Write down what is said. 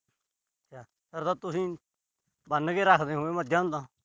ਫਿਰ ਤਾਂ ਤੁਸੀਂ ਬੰਨ ਕੇ ਰੱਖਦੇ ਹੋਵੋਗੇ ਮੱਝਾਂ ਨੂੰ ਤਾਂ।